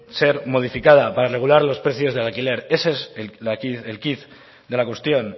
ser modificada para regular los precios del alquiler ese es el quid de la cuestión